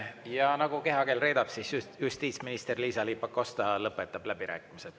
Ja nagu kehakeel reedab, siis justiitsminister Liisa-Ly Pakosta lõpetab läbirääkimised.